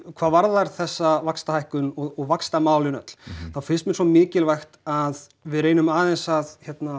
hvað varðar þessa vaxtahækkun og vaxtamálin öll þá finnst mér svo mikilvægt að við reynum aðeins að